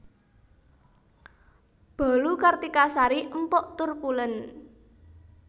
Bolu Kartika Sari empuk tur pulen